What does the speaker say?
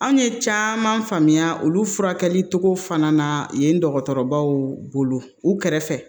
Anw ye caman faamuya olu furakɛli cogo fana na yen dɔgɔtɔrɔbaw bolo u kɛrɛfɛ